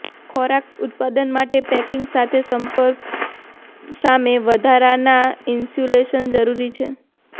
ખોરાક ઉત્પાદન માટે પેકિંગ સાથે સંપર્ક સામે વધારાના ઇન્સ્યુલેશન જરૂરી છે